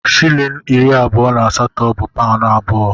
Shịlịn iri abụọ na asatọ bu paụnụ abụọ.